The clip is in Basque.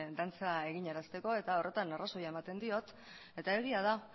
dantza eginarazteko eta horretan arrazoia ematen diot eta egia da